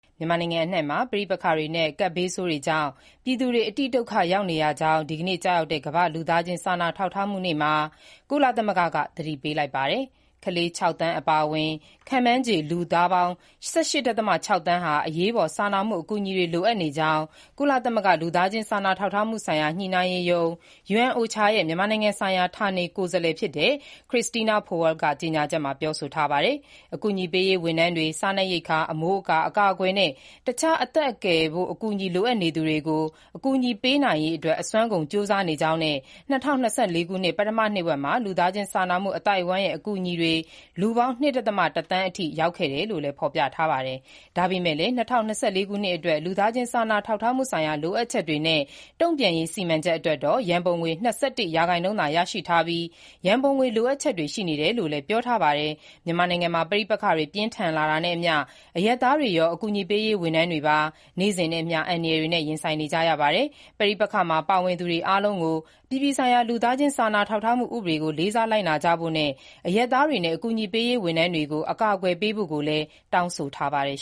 မြန်မာနိုင်ငံအနှံ့မှာ ပဋိပက္ခတွေနဲ့ ကပ်ဘေးဆိုးတွေကြောင့် ပြည်သူတွေ အတိဒုက္ခရောက်နေရကြောင်း ဒီကနေ့ ကျရောက်တဲ့ ကမ္ဘာ့လူသားချင်း စာနာထောက်ထားမှုနေ့မှာ ကုလသမဂ္ဂက သတိပေးလိုက်ပါတယ်။ ကလေး ၆ သန်း အပါအဝင်၊ ခန့်မှန်းခြေ လူပေါင်း ၁၈.၆ သန်းဟာ အရေးပေါ် စာနာမှု အကူအညီတွေ လိုအပ်နေကြောင်း ကုလသမဂ္ဂ လူသားချင်းစာနာထောက်ထားမှုဆိုင်ရာ ညှိနှိုင်းရေးရုံး UNOCHA ရဲ့ မြန်မာနိုင်ငံဆိုင်ရာ ဌာနေကိုယ်စားလှယ် Christina Powell က ကြေညာချက်မှာ ပြောဆိုထားတာပါ။ အကူအညီပေးရေးဝန်ထမ်းတွေ စားနပ်ရိက္ခာ၊ အမိုးအကာ၊ အကာအကွယ်နဲ့ အခြား အသက်ကယ်အကူအညီ လိုအပ်နေသူကို အကူအညီပေးနိုင်ရေး အစွမ်းကုန်ကြိုးစားနေကြောင်းနဲ့ ၂၀၂၄ ခုနှစ် ပထမနှစ်ဝက်မှာ လူသားချင်းစာနာမှု အသိုက်အဝန်းရဲ့ အကူအညီတွေ လူပေါင်း ၂.၁ သန်းအထိ ရောက်ခဲ့တယ်လို့လည်း ဖော်ပြထားပါတယ်။ ဒါပေမဲ့လည်း ၂၀၂၄ ခုနှစ်အတွက် လူသားချင်းစာနာထောက်ထားမှု ဆိုင်ရာလိုအပ်ချက်များနှင့် တုံ့ပြန်ရေးစီမံချက်အတွက် ရန်ပုံငွေ ၂၁ ရာခိုင်နှုန်းသာ ရရှိထားပြီး ရန်ပုံငွေ လိုအပ်ချက်တွေ ရှိနေတယ်လို့လည်း ပြောပါတယ်။ မြန်မာနိုင်ငံမှာ ပဋိပက္ခပြင်းထန်လာတာနဲ့အမျှ အရပ်သားတွေရော အကူအညီပေးရေး ဝန်ထမ်းတွေပါ နေ့စဉ်နှင့်အမျှ အန္တရာယ်တွေနဲ့ ရင်ဆိုင်နေကြရတာပါ။ ပဋိပက္ခတွင်း ပါဝင်သူတွေအားလုံးအနေနဲ့ အပြည်ပြည်ဆိုင်ရာ လူသားချင်းစာနာထောက်ထားမှုဥပဒေ ကို လေးစားလိုက်နာကြဖို့နဲ့ အရပ်သားတွေနဲ့ အကူအညီပေးရေးလုပ်သားတွေကို အကာအကွယ် ပေးဖို့ကိုလည်း တောင်းဆိုထားပါတယ်